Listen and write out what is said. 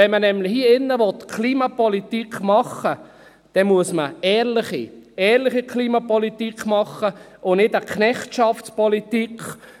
Will man hier drin nämlich Klimapolitik machen, muss man eine ehrliche Klimapolitik machen und keine «Knechtschaftspolitik».